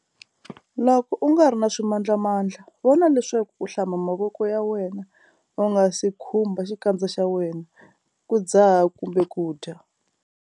Loko u nga ri na swimandlamandla, vona leswaku u hlamba mavoko ya wena u nga si khumbha xikandza xa wena, ku dzaha kumbe ku dya.